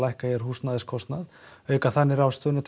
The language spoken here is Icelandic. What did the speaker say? auka þannig